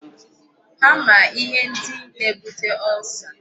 Ha ma ihe ndi na-ebute ulcer.